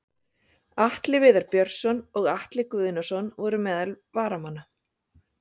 Atli Viðar Björnsson og Atli Guðnason voru meðal varamanna.